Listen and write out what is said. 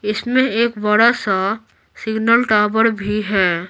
इसमें एक बड़ा सा सिग्नल टावर भी है।